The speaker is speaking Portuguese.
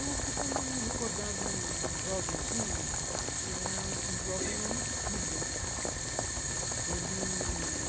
Eu costumo me recordar de um jovenzinho que era um um jovem homicida ele.